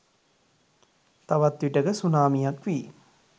තවත් විටෙක සුනාමියක් වී